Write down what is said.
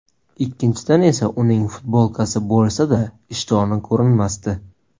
Ikkinchidan esa uning futbolkasi bo‘lsa-da, ishtoni ko‘rinmasdi.